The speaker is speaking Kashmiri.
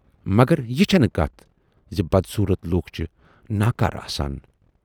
مگر یہِ چھَنہٕ کتھ زِ بدصوٗرتھ لوٗکھ چھِ ناکارٕ آسان۔